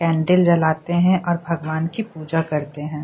Candle जलाते है और भगवान की पूजा करते है।